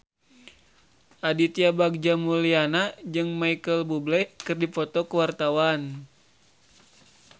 Aditya Bagja Mulyana jeung Micheal Bubble keur dipoto ku wartawan